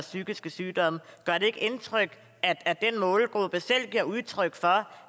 psykiske sygdomme gør det ikke indtryk at den målgruppe selv giver udtryk for